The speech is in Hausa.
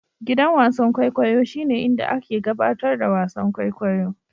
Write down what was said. Gidan wasan kwaikwayo shine inda ake gabatar da wasan kwaikwayo.